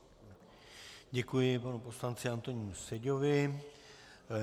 Děkuji panu poslanci Antonínu Seďovi.